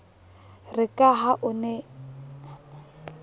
re ka ha o ne